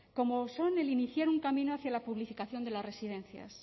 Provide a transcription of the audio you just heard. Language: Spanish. como son el iniciar un camino hacia la publificación de las residencias